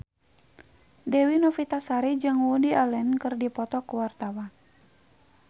Dewi Novitasari jeung Woody Allen keur dipoto ku wartawan